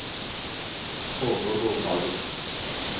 Torger Nordhagen